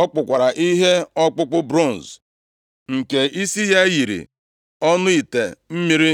Ọ kpụkwara ihe ọkpụkpụ bronz, nke isi ya yiri ọnụ ite mmiri.